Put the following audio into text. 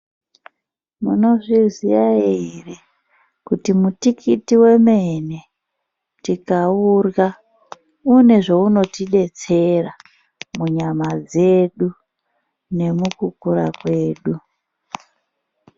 Munozviziya ere, kuti mutikiti wemene, tikaurya une zveunotidetsera, munyama dzedu, nemukukura kwedu.